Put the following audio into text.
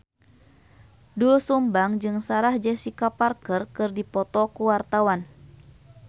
Doel Sumbang jeung Sarah Jessica Parker keur dipoto ku wartawan